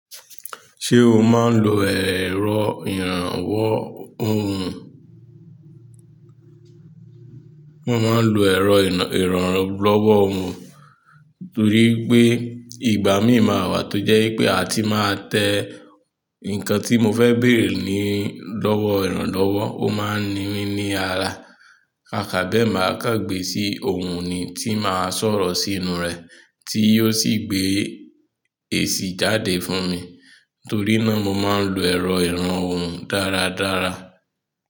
Ṣé o máa ń lo èrọ ìrànwọ́ ohùn? Mo máa ń lo èrọ̀ ìrànlọ́wọ́ ohùn torí wipé ìgbà míì ma wà tó jẹ́ wipé a ti máa tẹ nǹkan tí mo fẹ́ bèrè ní lọ́wọ́ ìrànlọ́wọ́, ó máa ń ni mí ní ara. Kàkà bẹ́ẹ̀ máa kàngbé sí ohùn ni tí màá sọ̀rọ̀ sínú rẹ̀ tí ó sì gbé èsì jáde fún mi. Torí náà mo máa ń lo èrò ìràn ohùn dáradára.